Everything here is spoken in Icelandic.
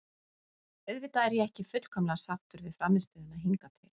Auðvitað er ég ekki fullkomlega sáttur við frammistöðuna hingað til.